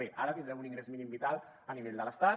bé ara tindrem un ingrés mínim vital a nivell de l’estat